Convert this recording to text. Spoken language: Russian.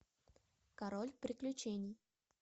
король приключений